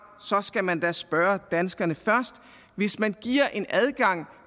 så skal man da spørge danskerne først hvis man giver en adgang